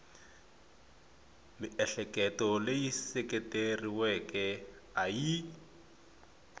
miehleketo leyi seketeriweke a yi